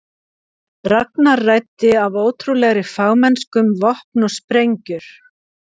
Ragnar ræddi af ótrúlegri fagmennsku um vopn og sprengjur.